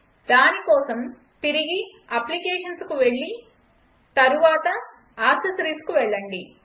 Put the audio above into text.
దాని కోసం తిరిగి అప్లికేషన్స్కు వెళ్లి తరువాత యాక్సెసరీస్కు వెళ్లండి